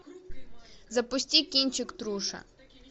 запусти кинчик труша